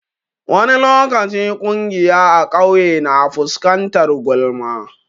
Wani lokaci ƙungiya a ƙauye na fuskantar gulma.